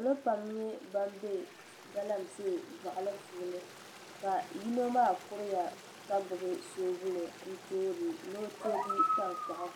Salo pam n nyɛ ban bɛ galamsee boɣali puuni ka yino maa kuriya ka gbubi soobuli ni o toogi tankpaɣu